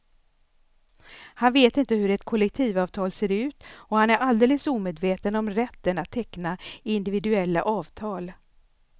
Han vet inte hur ett kollektivavtal ser ut och han är alldeles omedveten om rätten att teckna individuella avtal.